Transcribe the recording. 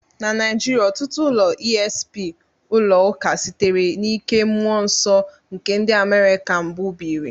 Na Naijiria, ọtụtụ ụlọ esp ụlọ ụka sitere n'ike mmụọ nsọ nke ndị America mbụ biri.